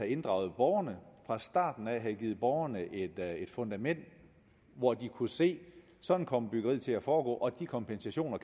inddraget borgerne fra starten af havde givet borgerne et fundament hvor de kunne se at sådan kom byggeriet til at foregå og de kompensationer